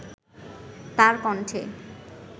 তার কণ্ঠে